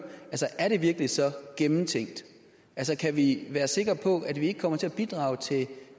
er det virkelig så gennemtænkt kan vi være sikre på at vi ikke kommer til at bidrage til